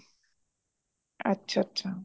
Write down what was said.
ਅੱਛਾ ਅੱਛਾ